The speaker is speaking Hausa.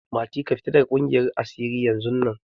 Mati, ka fita daga cikin ƙungiyar asiri yanzun nan!